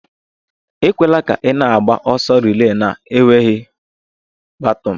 Ekwela ka ị na-agba ọsọ relay na-enweghị baton!